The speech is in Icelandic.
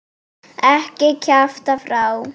Ekki kjafta frá.